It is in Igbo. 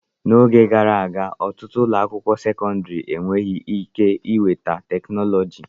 N'oge gara aga, ọtụtụ ụlọ akwụkwọ sekọndrị e weghị ike iweta teknụzụ.